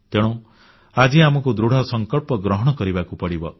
ତେଣୁ ଆଜି ଆମକୁ ଦୃଢ଼ସଂକଳ୍ପ ଗ୍ରହଣ କରିବାକୁ ପଡ଼ିବ